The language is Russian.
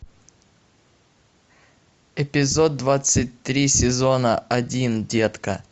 эпизод двадцать три сезона один детка